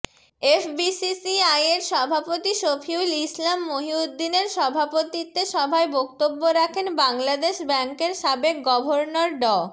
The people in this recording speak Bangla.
এফবিসিসিআইয়ের সভাপতি শফিউল ইসলাম মহিউদ্দিনের সভাপতিত্বে সভায় বক্তব্য রাখেন বাংলাদেশ ব্যাংকের সাবেক গভর্নর ড